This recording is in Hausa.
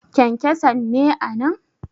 kyankyanson ne a nan!